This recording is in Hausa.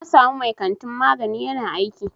Na samu mai kantin magani ƴana aiki.